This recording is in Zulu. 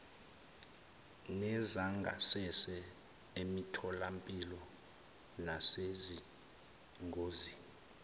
nezangasese emitholampilo nasezingosini